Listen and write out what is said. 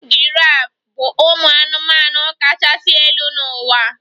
Giraf bụ ụmụ anụmanụ kachasị elu n'ụwa?